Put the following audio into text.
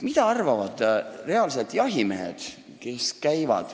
Mida arvavad sellest reaalselt jahimehed?